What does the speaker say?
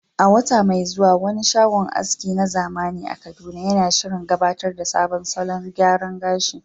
A wata mai zuwa, wani shagon aski na zamani a Kaduna yana shirin gabatar da sabon salon gyaran gashi.